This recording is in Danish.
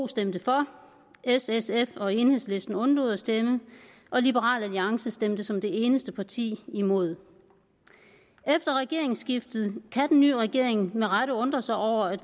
stemte for s sf og enhedslisten undlod at stemme og liberal alliance stemte som det eneste parti imod efter regeringsskiftet kan den nye regering med rette undre sig over at